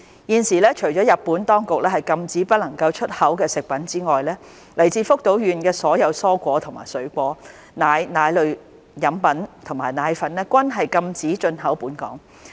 現時，除了日本當局禁止不能出口的食品之外，來自福島縣的所有蔬菜及水果、奶、奶類飲品及奶粉均禁止進口本港。